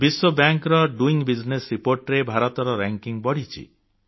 ବିଶ୍ୱ ବ୍ୟାଙ୍କର doing business report ରେ ଭାରତର ମାନ୍ୟତା ବଢ଼ିଛି